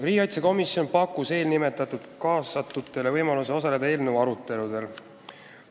Riigikaitsekomisjon pakkus eelnimetatutele võimalust osaleda eelnõu aruteludel.